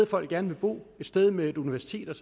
folk gerne vil bo et sted med et universitet